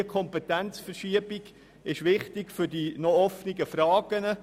Diese Kompetenzverschiebung ist wichtig für die noch offenen Fragen.